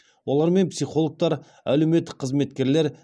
олармен психологтар әлеуметтік қызметкерлер